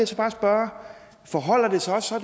så bare spørge forholder det sig så